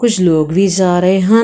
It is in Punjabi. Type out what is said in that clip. ਕੁਝ ਲੋਗ ਵੀ ਜਾ ਰਹੇ ਹਨ।